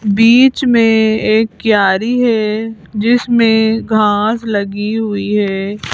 बीच में एक क्यारी है जिसमें घास लगी हुई है।